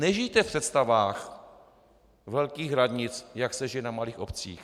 Nežijte v představách velkých radnic, jak se žije na malých obcích.